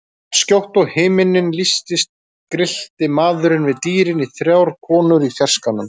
Jafnskjótt og himinninn lýstist grillti maðurinn við dýrin í þrjár konur í fjarskanum.